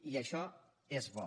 i això és bo